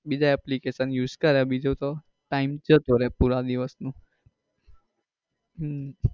બીજ application use કરે બીજું તો time જતો રહે પુરા દિવસ નો. હમ